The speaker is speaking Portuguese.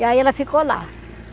E aí ela ficou lá.